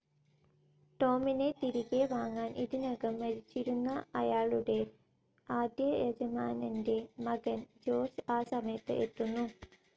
Tom തിരികെ വാങ്ങാൻ, ഇതിനകം മരിച്ചിരുന്ന അയാളുടെ ആദ്യയജമാനൻ്റെ മകൻ ജോർജ് ആ സമയത്ത് എത്തുന്നു.